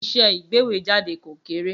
Iṣẹ́ ìgbéwèéjáde kò kéré.